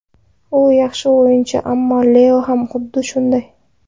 U yaxshi o‘yinchi, ammo Leo ham xuddi shunday.